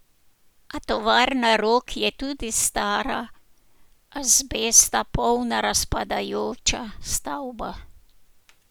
A tovarna Rog je tudi stara azbesta polna razpadajoča stavba.